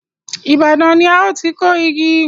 Ibadan ni a ó ti kó igi